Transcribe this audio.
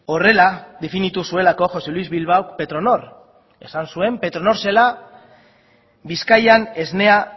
horrela definitu zuelako josé luis bilbao petronor esan zuen petronor zela bizkaian esnea